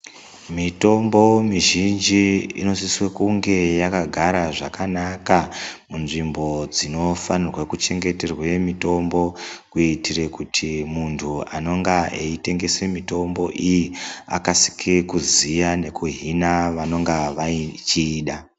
Mitombo mizhinji inosiso kunge yakagara zvakanaka munzvimbo dzinofanirwa kuchengeterwa mitombo kuitira kuti muntu anonga etengesa mitombo iyi akasire kuziva ne kuhina vanonga vechiida.